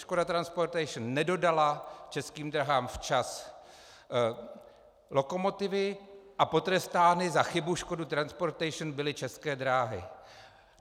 Škoda Transportation nedodala Českým dráhám včas lokomotivy a potrestány za chybu Škody Transportation byly České dráhy.